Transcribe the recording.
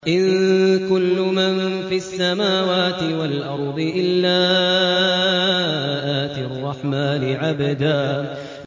إِن كُلُّ مَن فِي السَّمَاوَاتِ وَالْأَرْضِ إِلَّا آتِي الرَّحْمَٰنِ عَبْدًا